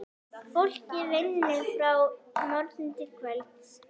Fólkið vinnur frá morgni til kvölds.